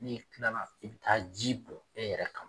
N'i kilala i bi taa ji bɔn i yɛrɛ kan